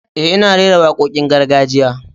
Eh, ina rera wakokin gargajiya.